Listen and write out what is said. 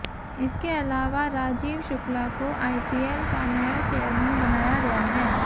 इसके अलावा राजीव शुक्ला को आईपीएल का नया चेयरमैन बनाया गया है